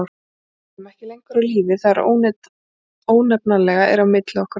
Við erum ekki lengur á lífi: það ónefnanlega er á milli okkar og þín.